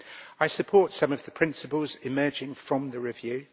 I support some of the principles emerging from the review.